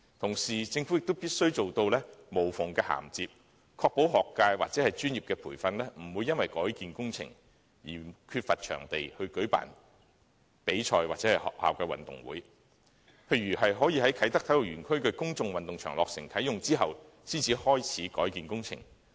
同時，政府必須做到無縫銜接，確保學界或專業培訓團體不會因為改建工程而缺乏場地舉辦比賽或學校運動會，例如可以在啟德體育園區的公眾運動場落成及啟用後，才開始改建工程。